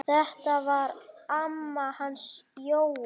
Þetta var amma hans Jóa.